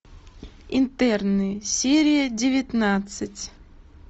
интерны серия девятнадцать